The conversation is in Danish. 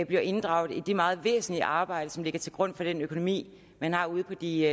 bliver inddraget i det meget væsentlige arbejde som ligger til grund for den økonomi man har ude på de